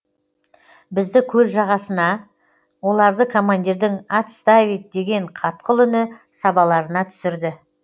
бізді көл жағасына оларды командирдің отставить деген қатқыл үні сабаларына түсірді